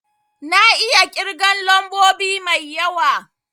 Na iya kirgen lambobi mai yawa